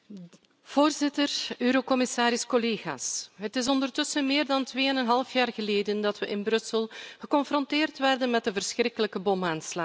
Voorzitter, commissaris, collega's, het is ondertussen meer dan twee en een half jaar geleden dat we in Brussel geconfronteerd werden met de verschrikkelijke bomaanslagen.